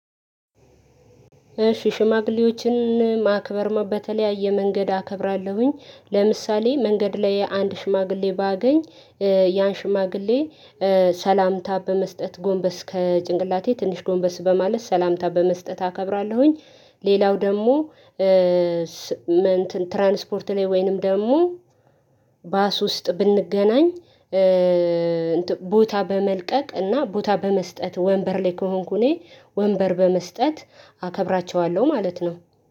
ሽሽማግሌዎችን ማክበር በተለያየ መንገድ አከብራለሁኝ። ለምሳሌ መንገድ ላይ አንድ ሽማግሌ ባገኝ ያን ሽማግሌ ሰላምታ በመስጠት ጎንበስ ከጭንቅላቴ ትንሽ ጎንበስ በማለት ሰላምታ በመስጠት አከብራለሁኝ ሌላው ደግሞ ኧ ትራንስፖርት ላይ ወይንም ደግሞ ባስ ውስጥ ብንገናኝ ኧ ቦታ በመልቀቅ እና ቦታ በመስጠት ወንበር ላይ ከሆንኩ እኔ ወንበር በመስጠት አከብራቸዋለሁ ማለት ነው